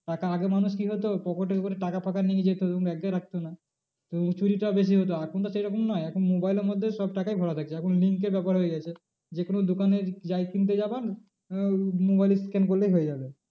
টাকা আগে মানুষ কি হতো pocket এ করে টাকা ফাকা নিয়ে যেত এবং এক জায়গায় রাখতো না তো চুরিটাও বেশি হতো এখন তো সে রকম নয় এখন mobile এর মধ্যে সব টাকাই ভরা থাকবে এখন link এর ব্যাপার হয়ে গেছে যে কোনো দোকানে যাই কিনতে যাবা আহ mobile এ scan করলেই হয়ে যাবে।